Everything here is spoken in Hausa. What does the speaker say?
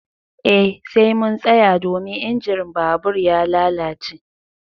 Eh sai mun tsaya domin injin babur ya lalace.